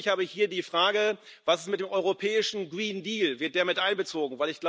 Ausdrücklich habe ich hier die Frage Was ist mit dem europäischen Green Deal wird der mit einbezogen?